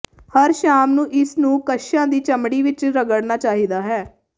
ਹਰ ਸ਼ਾਮ ਨੂੰ ਇਸ ਨੂੰ ਕੱਛਾਂ ਦੀ ਚਮੜੀ ਵਿਚ ਰਗੜਨਾ ਚਾਹੀਦਾ ਹੈ